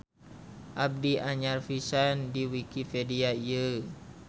Abdi anyar pisan di wikipedia ieu.